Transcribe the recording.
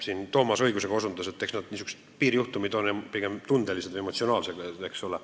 Enne Toomas õigusega osutas, et niisugused piirijuhtumid on pigem emotsionaalsed, eks ole.